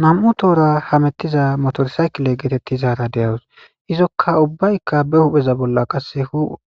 2 Tora hamutiza motor cycle getetizara de'awus. Izika ubbayka be hupheza bolla qase